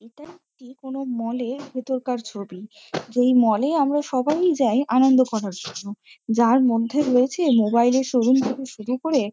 এটা একটি কোনো মল -এর ভিতরকার ছবি। যেই মল -এ আমরা সবাই-ই যাই আনন্দ করার জন্য। যার মধ্যে রয়েছে মোবাইল এর শোরুম থেকে শুরু করে--